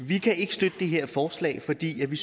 vi kan ikke støtte det her forslag fordi vi